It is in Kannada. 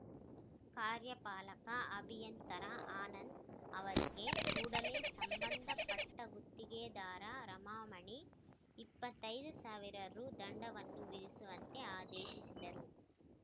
ಕಾರ್ಯಪಾಲಕ ಅಭಿಯಂತರ ಅನಂದ್‌ ಅವರಿಗೆ ಕೂಡಲೇ ಸಂಬಂಧ ಪಟ್ಟಗುತ್ತಿಗೆದಾರ ರಮಾಮಣಿ ಇಪ್ಪತ್ತೈದು ಸಾವಿರ ರು ದಂಡವನ್ನು ವಿಧಿಸುವಂತೆ ಆದೇಶಿಸಿದರು